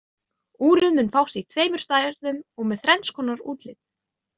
Úrið mun fást í tveimur stærðum og með þrenns konar útlit.